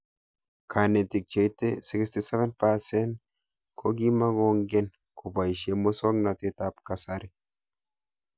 Kanetik cheite 67% ko kimukong'en kopoishe muswognatet ab kasari